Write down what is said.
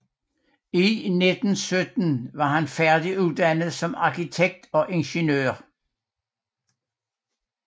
I 1917 var han færdiguddannet som arkitekt og ingeniør